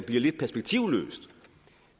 lidt perspektivløst